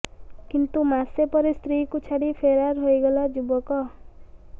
କିନ୍ତୁ ମାସେ ପରେ ସ୍ତ୍ରୀକୁ ଛାଡି ଫେରାର ହୋଇଗଲା ଯୁବକ